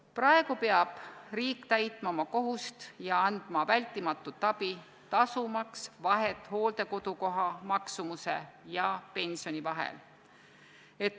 Praegu peab riik täitma oma kohust ja andma vältimatut abi, tasumaks vahe hooldekodukoha maksumuse ja pensioni vahel.